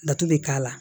Laturu bɛ k'a la